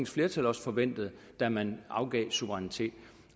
flertal også forventede da man afgav suverænitet